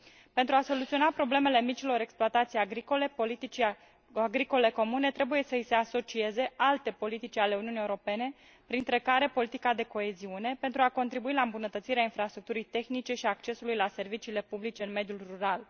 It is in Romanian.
Pentru a soluționa problemele micilor exploatații agricole, politicii agricole comune trebuie să i se asocieze alte politici ale Uniunii Europene, printre care politica de coeziune, pentru a contribui la îmbunătățirea infrastructurii tehnice și a accesului la serviciile publice în mediul rural.